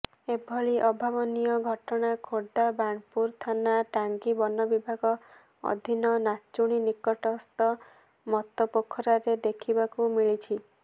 ଏଭଳି ଅଭାବନୀୟ ଘଟଣା ଖୋର୍ଦ୍ଧା ବାଣପୁର ଥାନା ଟାଙ୍ଗୀ ବନବିଭାଗ ଅଧିନ ନାଚୁଣୀ ନିକଟସ୍ଥ ମତପୋଖରାରେ ଦେଖିବାକୁ ମିଳିଛି